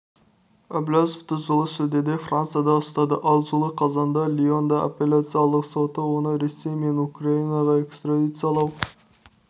әбләзовты жылы шілдеде францияда ұстады ал жылы қазанда лионның аппеляциялық соты оны ресей мен украинаға экстрадициялау